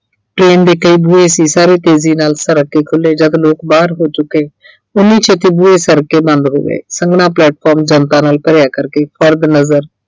train ਦੇ ਕਈ ਬੂਹੇ ਸੀ ਸਾਰੇ ਤੇਜ਼ੀ ਨਾਲ ਸਰਕ ਕੇ ਖੁੱਲੇ ਜਦ ਲੋਕ ਬਾਹਰ ਹੋ ਚੁੱਕੇ ਉਨ੍ਹੀ ਛੇਤੀ ਬੂਹੇ ਸਰਕ ਕੇ ਬੰਦ ਹੋ ਗਏ ਸੰਘਣਾ platform ਜਨਤਾ ਨਾਲ ਭਰਿਆ ਕਰਕੇ ਨਜ਼ਰ